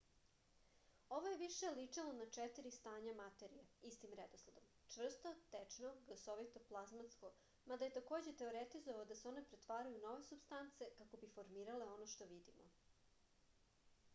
ово је више личило на четири стања материје истим редоследом: чврсто течно гасовито плазматско мада је такође теоретизовао да се оне претварају у нове супстанце како би формирале оно што видимо